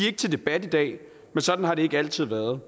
ikke til debat i dag men sådan har det ikke altid været